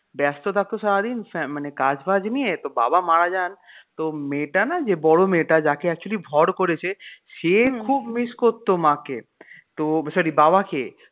ব্যস্ত থাকতো সারাদিন, মানে কাজবাজ নিয়ে তো বাবা মারা যান তো মেয়েটা না যে বড় মেয়েটা যাকে actually ভড় করেছে সে খুব miss করত মাকে তো sorry বাবাকে